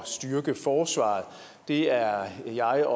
styrke forsvaret det er jeg og er